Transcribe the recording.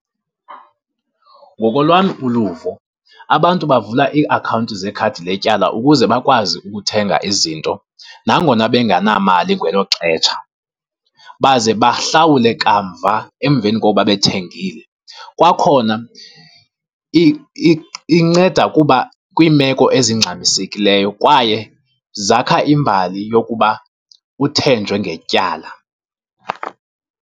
Ngokolwam uluvo abantu bavula iiakhawunti zekhadi letyala ukuze bakwazi ukuthenga izinto nangona bengenamali ngelo xesha, baze bahlawule kamva emveni kokuba bethengile. Kwakhona inceda kuba kwiimeko ezingxamisekileyo kwaye zakha imbali yokuba uthenjwe ngetyala.